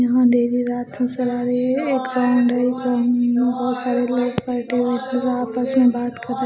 यहां अंधेरी रात नजर आ रही है एक बहुत सारे लोग बैठे हुए फिर आपस में बात कर रहे--